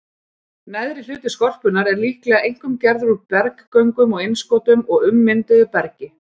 Neðri hluti skorpunnar er líklega einkum gerður úr berggöngum og innskotum og ummynduðu bergi.